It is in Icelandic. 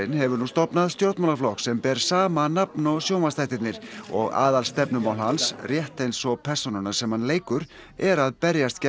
hefur nú stofnað stjórnmálaflokk sem ber sama nafn og sjónvarpsþættirnir og aðalstefnumál hans rétt eins og persónunnar sem hann leikur er að berjast gegn